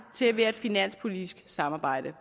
til at være et finanspolitisk samarbejde